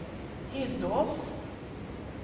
Hindås